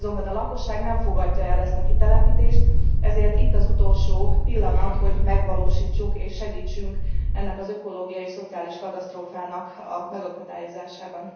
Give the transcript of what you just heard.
A lakosság nem fogadja el ezt a kitelepítést, ezért itt az utolsó pillanat, hogy segítsünk ennek az ökológiai és szociális katasztrófának a megakadályozásában.